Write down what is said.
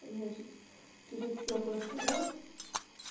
значит через стёклышко да